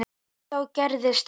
En þá gerðist það.